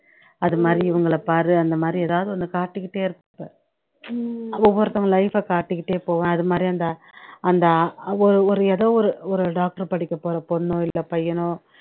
அதுமாதிரி இவங்களை பாரு அந்தமாதிரி எதாவது ஒண்ணு காட்டிக்கிட்டே இருப்பேன் ஒவ்வொருத்தவங்க life அ காட்டிகிட்டே போவேன் அதுமாதிரி அந்த அந்த அவ் ஒரு இடம் ஒரு ஒரு doctor படிக்கப்போற பொண்ணோ இல்ல பையனோ